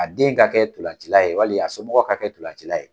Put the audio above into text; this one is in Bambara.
A den ka kɛ ntolancila ye walima a somɔgɔw ka kɛ ntolancila ye.